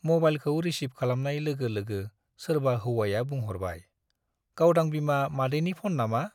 मबाइलखौ रिसिभ खालामनाय लोगो लोगो सोरबा हौवाया बुंह'रबाय, गावदां बिमा मादैनि फन नामा?